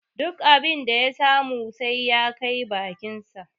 Duk abin da ya samu sai ya kai bakinsa.